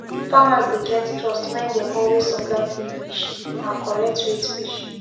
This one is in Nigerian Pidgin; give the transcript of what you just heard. farmers dey get trust when dem always supply clean fresh and correctweight fish